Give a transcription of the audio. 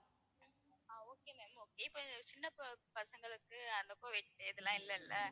ஆஹ் okay ma'am okay இப்போ சின்ன பச~ பசங்களுக்கு அந்த இப்போ இதெல்லாம் இல்லல்ல,